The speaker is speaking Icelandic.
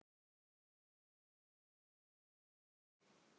Svo var alls ekki.